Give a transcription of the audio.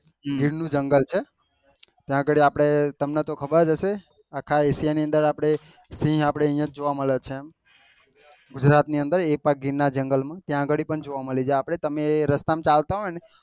ગીર નું જંગલ છે ત્યાં આગળ આપડે તમ ને તો ખબર હશે આખા asia ની અન્દર આપડે સિહ અહિયાં જ જોવા મળે છે એમ ગુજરાત ની અન્દર એ પાછાં ગીર ના જંગલ માં ત્યાં આગળ પણ જોવા મળી જય આપડે તમે રસ્તા માં ચાલતા હોય ને